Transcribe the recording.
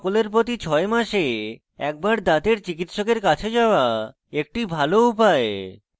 সকলের প্রতি ছয় মাসে একবার দাঁতের চিকিত্সকের কাছে যাওয়া একটি ভাল উপায়